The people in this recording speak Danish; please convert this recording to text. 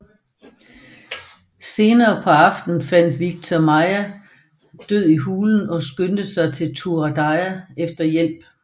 Senere på aftenen fandt Viktor Maija død i hulen og skyndte sig til Turaida efter hjælp